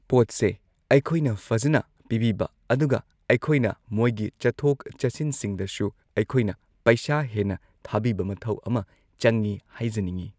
ꯄꯣꯠꯁꯦ ꯑꯩꯈꯣꯏꯅ ꯐꯖꯅ ꯄꯤꯕꯤꯕ ꯑꯗꯨꯒ ꯑꯩꯈꯣꯏꯅ ꯃꯣꯏꯒꯤ ꯆꯠꯊꯣꯛ ꯆꯠꯁꯤꯟꯁꯤꯡꯗꯁꯨ ꯑꯩꯈꯣꯏꯅ ꯄꯩꯁꯥ ꯍꯦꯟꯅ ꯊꯥꯕꯤꯕ ꯃꯊꯧ ꯑꯃ ꯆꯪꯏ ꯍꯥꯏꯖꯅꯤꯡꯏ